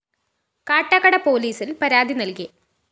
കാട്ടാക്കട പോലീസില്‍ പരാതി നല്‍കി